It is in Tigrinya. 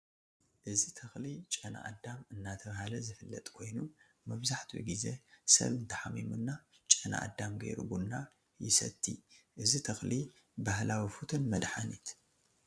እዚ ተክሊ ጨናአዳም እናተባለ ዝፍለጥ ኮይኑ መብዛሕቲኡ ግዜ ስብ እንተሓሚሙና ጨናአዳም ገይሩ ቡና ይስትይ እዚ ተክሊ ባህላዊ ፉቱን መድሓኒት ።